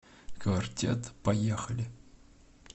квартет поехали